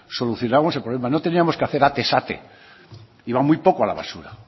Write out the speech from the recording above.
solucionamos el problema no teníamos que hacer atez ate iba muy poco a la basura